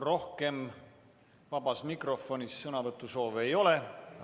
Rohkem vabas mikrofonis sõnavõtu soovi ei ole.